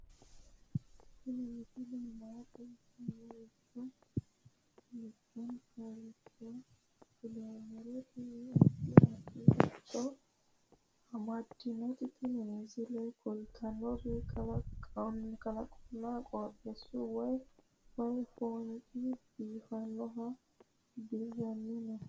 tini misile maa xawissannoro mito mittonkaricho kulummoro tini addi addicoy amaddinote tini misileno kultannori kalaqonna qooxeessaho way foonchi biifannohu dirranni no